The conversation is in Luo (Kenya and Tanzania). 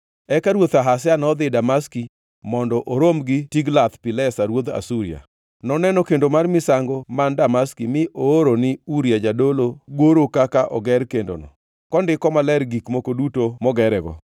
Eka ruoth Ahaz nodhi Damaski mondo orom gi Tiglath-Pilesa ruodh Asuria. Noneno kendo mar misango man Damaski mi ooro ni Uria jadolo goro kaka oger kendono, kondiko maler gik moko duto mogerego.